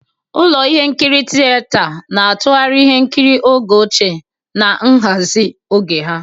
Ụlọ ihe nkiri tinyegharị na-atụgharị ihe nkiri oge ochie na nhazi oge ha.